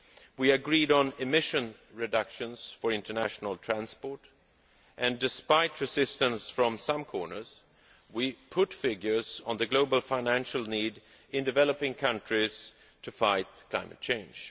We agreed on emission reductions for international transport and, despite resistance from some corners, we put figures on the global financial need in developing countries to fight climate change.